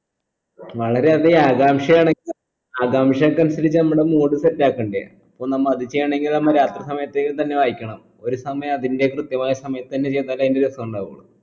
വളരെയധികം ആകാംക്ഷയാണ് ആകാംക്ഷക്കനുസാരിച്ചാ നമ്മടെ mood set ആക്കണ്ടേ അപ്പോ നമ്മ അത് ചെയ്യണെങ്കി നമ്മ രാത്രി സമയത്തന്നെ വായിക്കണം ഒരു സമയം അതിന്റെ കൃത്യമായ സമയത്തന്നെ ചെയ്താലേ അതിന്റെ രസണ്ടാവൂ